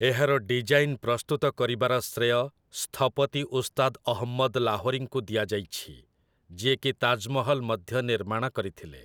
ଏହାର ଡିଜାଇନ୍ ପ୍ରସ୍ତୁତ କରିବାର ଶ୍ରେୟ ସ୍ଥପତି ଉସ୍ତାଦ ଅହମ୍ମଦ ଲାହୋରୀଙ୍କୁ ଦିଆଯାଇଛି, ଯିଏକି ତାଜମହଲ ମଧ୍ୟ ନିର୍ମାଣ କରିଥିଲେ ।